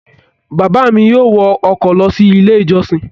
Bàbá mi yóò wọ ọkọ̀ lọ sí Ilé-ìjọsìn.